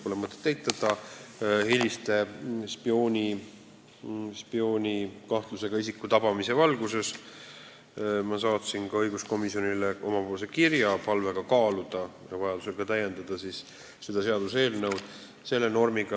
Pole mõtet eitada, et hiljutise spioonikahtlusega isiku tabamise valguses ma tõepoolest saatsin õiguskomisjonile kirja palvega kaaluda seda normi, mis puudutab kodakondsusõigust, ja vajadusel seda seaduseelnõu ka täiendada.